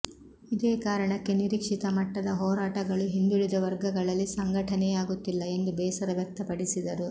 ಇದೇ ಕಾರಣಕ್ಕೆ ನಿರೀಕ್ಷಿತ ಮಟ್ಟದ ಹೋರಾಟಗಳು ಹಿಂದುಳಿದ ವರ್ಗಗಳಲ್ಲಿ ಸಂಘಟನೆಯಾಗುತ್ತಿಲ್ಲ ಎಂದು ಬೇಸರ ವ್ಯಕ್ತಪಡಿಸಿದರು